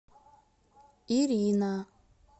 ирина